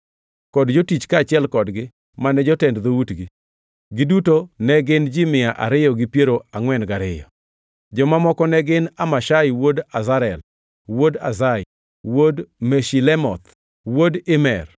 kod jotich kaachiel kodgi, mane jotend dhoutgi. Giduto ne gin ji mia ariyo gi piero angʼwen gariyo (242). Joma moko ne gin, Amashsai wuod Azarel, wuod Azai, wuod Meshilemoth, wuod Imer,